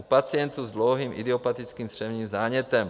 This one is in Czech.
u pacientů s dlouholetým idiopatickým střevním zánětem.